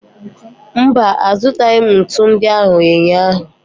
Mba, azụtaghị m ntu ndị ahụ ụnyaahụ.